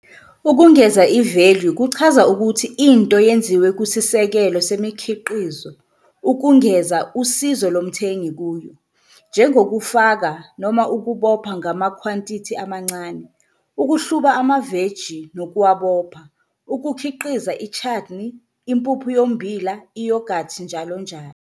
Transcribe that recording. Ukungeza i-value kuchaza ukuthi into yenziwe kusisekelo semikhiqizo ukungeza usizo lomthengi kuyo, njengokufaka noma ukubopha ngamakhwantithi amancane, ukuhluba amaveji nokuwabopha, ukukhiqiza i-chutney, impuphu yommbila, i-yoghurt njl.